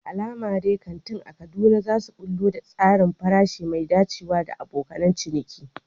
Da alama dai kantin a Kaduna za su ɓullo da tsarin farashi mai dacewa da abokan ciniki.